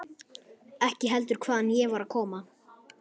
Ekki heldur hvaðan ég var að koma.